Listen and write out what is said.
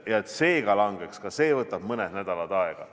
Et see langeks, ka see võtab mõned nädalad aega.